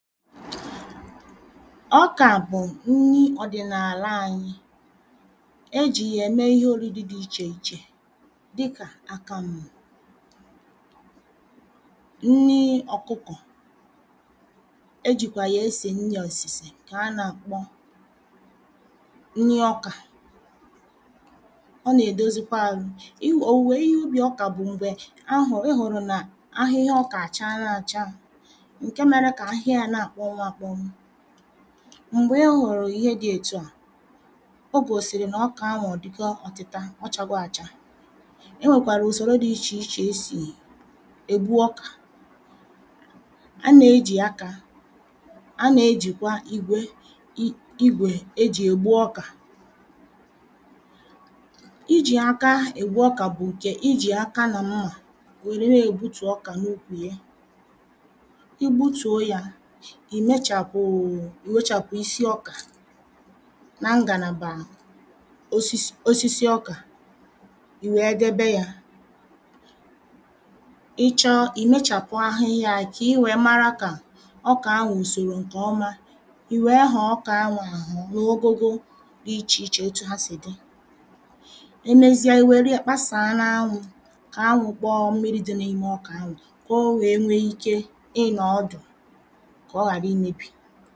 Ọkà bụ̀ nni òdị̀nàla anyị Ejì yà ème ihe òriri dị ichè ichè dịkà àkàmù nni òkụkọ̀, e jìkwà yà esè nni òsìsè ǹkà a nàkpọ nni ọkà ọ nà-èdozikwa ahụ, òwùwè ihe ubì ọkà bụ̀ m̀gbè ị hụ̀rụ̀ nà ahịhịa ọkà àchala acha ǹke mērē kà ahịhịa yā na-àkpọnwụ akpọnwụ m̀gbè ị hụ̀rụ̀ ihe dị̄ ètu à o gòsìrì nà ọkà ahụ̀ ọ̀dịgo ọtịta ọ chāgō acha E nwèkwàrà ùsòro dị ichè ichè esì ègbu ọkà a nè-ejì akā, a nè-ejìkwa igwè ejì ègbu ọkà Ijì aka ègbu ọkà bụ̀ ǹkè ijì aka nà mmà wère na-ègbutù ọkà n’ukwù ye, I gbutùo yā Ì wechàpụ̀ isi ọkà nà ngànàbà osisi ọkà ì wèe debe yā Ị chọọ ì mechàpụ ahịhịa yā kì I wèe mara kà ọkà ahụ̀ ò sòrò ǹkọ̀ọma ì wèe họ̀ọ ọkà ahụ̀ àhọ̀ n’ogogo dị ichè ichè otu ha sị̀ dị e mezia ì wère yē kpaàsā n’anwụ̄ kà anwụ̄ kpọọ mmiri dị̄ n’ime ọkà anwà kò o wèe nwee ike ịnọ̀ ọdụ̀ kọ̀ ọghàra imēbì